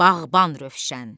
Bağban Rövşən.